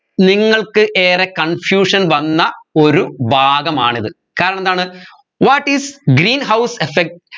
നിങ്ങൾക്ക് ഏറെ confusion വന്ന ഒരു ഭാഗമാണിത് കാരണം എന്താണ് what is greenhouse effect